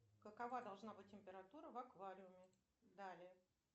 какова должна быть температура в аквариуме далее